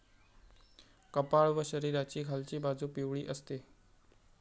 कपाळ व शरीराची खालची बाजू पिवळी असते.